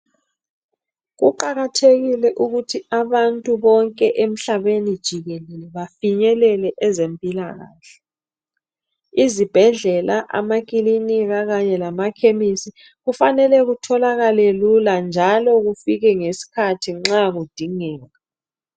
Kuqakathekile ukuthi abantu bonke emhlabeni jikelele bafinyelele ezempilakahle. Izibhedlela, amakilinika kanye lamakhemisi kufanele kutholakale lula njalo kufike ngesikhathi nxa kudingeka.